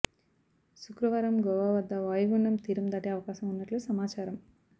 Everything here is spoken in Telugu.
శుక్రవారం గోవా వద్ద వాయుగుండం తీరం దాటే అవకాశం ఉన్నట్లు సమాచారం